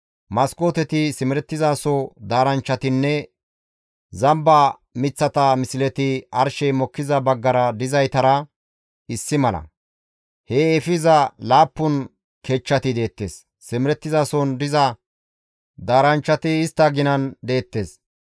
Maskooteti, simerettizaso daaranchchatinne zamba miththata misleti arshey mokkiza baggara dizaytara issi mala; hee efiza laappun kechchati deettes; simerettizason diza daaranchchati istta ginan deettes.